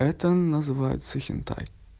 это называется хентай